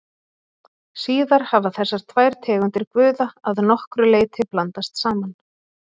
Síðar hafa þessar tvær tegundir guða að nokkru leyti blandast saman.